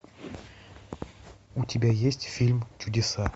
у тебя есть фильм чудеса